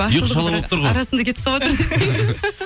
ұйқы шала болып тұр ғой арасында кетіп қалыватырмын